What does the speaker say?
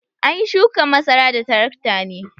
An yi shukan masara da tarakta ne.